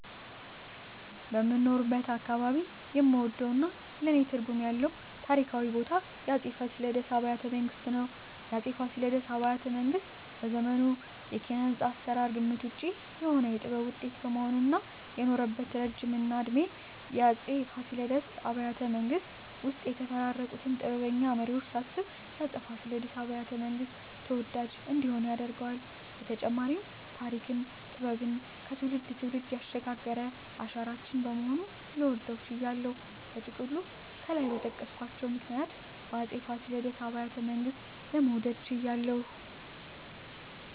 በምኖርበት አካባባቢ የምወደውና ለኔ ትርጉም ያለው ታሪካዊ ቦታ የአፄ ፋሲለደስ አብያተ ቤተመንግስት ሲሆን፣ የአፄ ፋሲለደስ አብያተ ቤተመንግስት በዘመኑ የኪነ-ህንጻ አሰራር ግምት ውጭ የሆነ የጥበብ ውጤት በመሆኑ እና የኖረበት እረጅም እድሜና የአፄ ፋሲለደስ አብያተ ቤተመንግስት ውስጥ የተፈራረቁትን ጥበበኛ መሪወች ሳስብ የአፄ ፋሲለደስ አብያተ- መንግስት ተወዳጅ እንዲሆን ያደርገዋል በተጨማሪም ተሪክና ጥበብን ከትውልድ ትውልድ ያሸጋገረ አሻራችን በመሆኑ ልወደው ችያለሁ። በጥቅሉ ከላይ በጠቀስኳቸው ምክንያቶች የአፄ ፋሲለደስ አብያተ ቤተመንግስትን ለመውደድ ችያለሁ